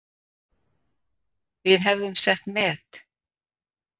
Við hefðum sett met